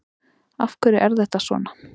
Af hverju er þetta svona?